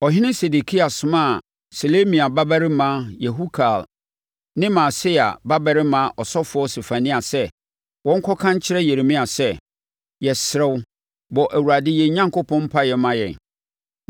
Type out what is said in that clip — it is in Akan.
Ɔhene Sedekia somaa Selemia babarima Yehukal ne Maaseia babarima ɔsɔfoɔ Sefania sɛ, wɔnkɔka nkyerɛ Yeremia sɛ, “Yɛsrɛ wo, bɔ Awurade yɛn Onyankopɔn mpaeɛ ma yɛn.”